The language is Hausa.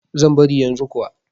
Zan bari yanzu kuwa.